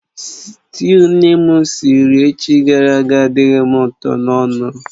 Sịtịụ nne m siri echi gara aga adịghị m ụtọ n'ọnụ